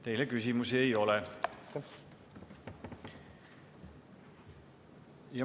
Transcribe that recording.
Teile küsimusi ei ole.